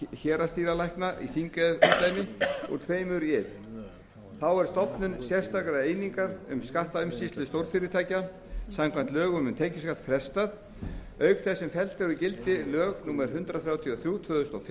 héraðsdýralækna í þingeyjarumdæmi úr tveimur í einn þá er frestað stofnun sérstakrar einingar um skattumsýslu stórfyrirtækja samkvæmt lögum um tekjuskatt auk þess sem felld eru úr gildi lög númer hundrað þrjátíu og þrjú tvö þúsund og